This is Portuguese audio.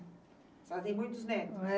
A senhora tem muitos netos?